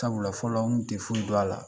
Sabula fɔlɔ n tɛ un furu don a la